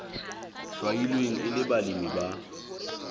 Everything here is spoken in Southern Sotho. hlwailweng e le balemi ba